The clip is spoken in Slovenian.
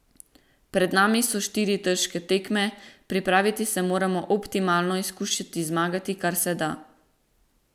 Pred nami so štiri težke tekme, pripraviti se moramo optimalno in skušati zmagati, kar se da.